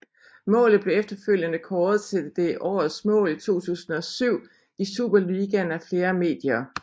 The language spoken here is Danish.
Målet blev efterfølgende kåret til det årets mål 2007 i Superligaen af flere medier